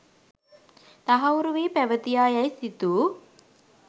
තහවුරුවී පැවතියා යැයි සිතූ